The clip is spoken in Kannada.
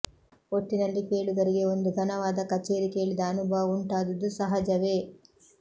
ಒಟ್ಟಿನಲ್ಲಿ ಕೇಳುಗರಿಗೆ ಒಂದು ಘನವಾದ ಕಛೇರಿ ಕೇಳಿದ ಅನುಭವ ಉಂಟಾದುದು ಸಹಜವೇ